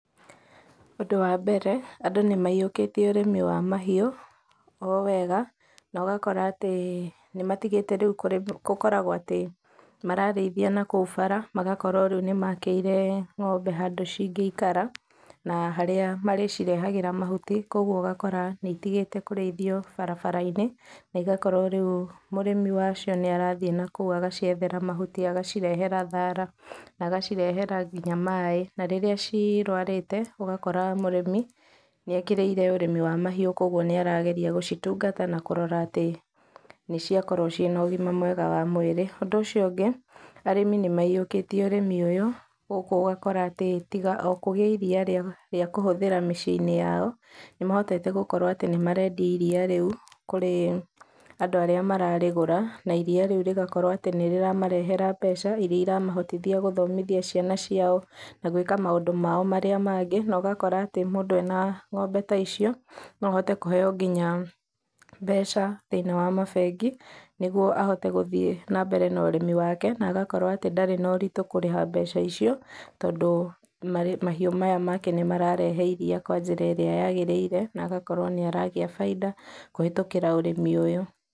Ũndũ wa mbere, andũ nĩmahiũkĩtie ũrĩmi wa mahiũ, owega, nogakora atĩ, nĩmatigĩte rĩu kũ, gũkoragũo atĩ, mararĩithia nakũu bara, magakorũo rĩu nĩmakĩire ng'ombe handũ cingĩikara, na harĩa marĩcirehagĩra mahuti, kwoguo ũgakora nĩitigĩte kũrĩithio barabarainĩ, na igakorwo rĩu mũrĩmi wacio nĩarathiĩ nakũu agaciethera mahuti agacirehera thara, na agacirehera nginya maĩ, na rĩrĩa cirũarĩte, ũgakora mũrĩmi, nĩekĩrĩire ũrĩmi wa mahiũ kwoguo nĩarageria gũcitungata na kũrora atĩ, nĩciakorũo ciĩna ũgima mwega wa mwĩrĩ, ũndũ ũcio ũngĩ, arĩmi nĩmahiũkĩtie ũrĩmi ũyũ ũguo ũgakora atĩ, tiga o kũgĩa iria rĩa, rĩa kũhũthĩra mĩciĩinĩ yao, nĩmahotete gũkorwo atĩ nĩmarendia iria rĩu kũrĩ, andũ arĩa mararĩgũra, na iria rĩu rĩgakorũo atĩ nĩrĩramarehera mbeca, iria iramahotithia gũthomithia ciana ciao, na gwĩka maũndũ mao marĩa mangĩ, nogakora atĩ, mũndũ ena ng'ombe ta icio, noahote kũheo nginya mbeca, thĩinĩ wa mabengi, nĩguo ahote gũthiĩ nambere na ũrĩmi wake, na agakorũo ndarĩ na ũritũ kũrĩha mbeca icio, tondũ, marĩ, mahiũ maya make nĩmarĩrehe iria kwa njĩra ĩrĩa yagĩrĩire, na agakorũo nĩaragĩa bainda, kũhĩtũkĩra ũrĩmi ũyũ.